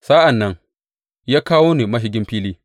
Sa’an nan ya kawo ni mashigin filin.